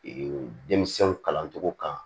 denmisɛnw kalancogo kan